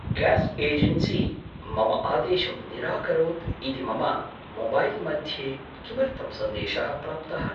Gas agency मम आदेशं निराकरोत् इति मम मोबैल् मध्ये किमर्थं सन्देशः प्राप्तः?